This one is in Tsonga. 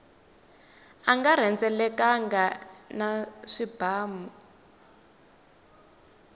a nga rhendzeleka na swipanu